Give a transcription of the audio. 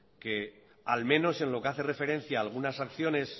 que al menos en lo que hace referencia a algunas acciones